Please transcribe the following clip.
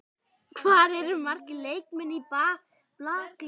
Hvað eru margir leikmenn í blakliði?